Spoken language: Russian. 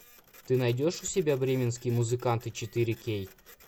ты найдешь у себя бременские музыканты четыре кей